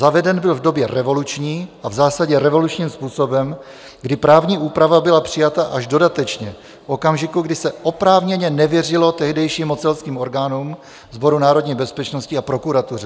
Zaveden byl v době revoluční a v zásadě revolučním způsobem, kdy právní úprava byla přijata až dodatečně v okamžiku, kdy se oprávněně nevěřilo tehdejším mocenským orgánům, Sboru národní bezpečnosti a prokuratuře.